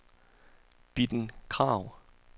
Bitten Krag